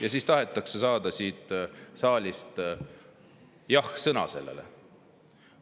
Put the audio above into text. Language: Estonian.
Ja siis tahetakse saada siit saalist jah-sõna sellele!